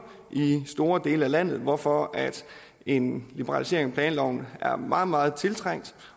i store dele af landet hvorfor en liberalisering af planloven er meget meget tiltrængt